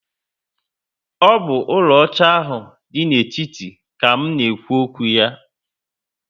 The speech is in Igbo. O bu úlò óchá ahụ dị n'etiti ka m na ekwu okwu ya